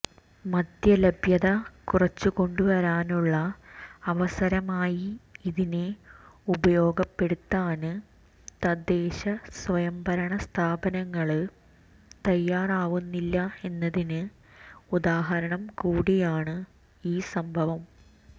മദ്യലഭ്യത കുറച്ചു കൊണ്ടുവരാനുള്ള അവസരമായി ഇതിനെ ഉപയോഗപ്പെടുത്താന് തദ്ദേശ സ്വയംഭരണ സ്ഥാപനങ്ങള് തയ്യാറാവുന്നില്ല എന്നതിന് ഉദാഹരണംകൂടിയാണ് ഈ സംഭവം